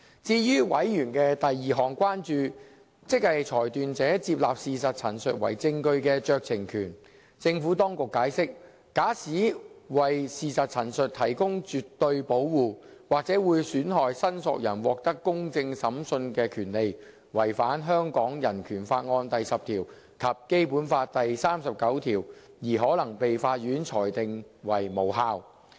至於委員的第二項關注，即裁斷者接納事實陳述為證據的酌情權，政府當局解釋，假使為事實陳述提供絕對保護，或者會損害申索人獲得公正審訊的權利，違反香港人權法案第十條及《基本法》第三十九條，而可能被法院裁定為無效。